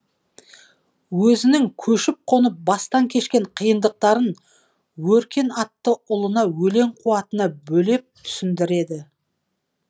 өзінің көшіп қонып бастан кешкен қиындықтарын өркен атты ұлына өлең қуатына бөлеп түсіндіреді